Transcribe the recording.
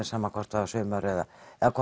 sama hvort það var sumar eða